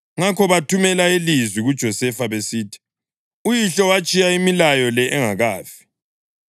Ngakho bathumela ilizwi kuJosefa besithi, “Uyihlo watshiya imilayo le engakafi: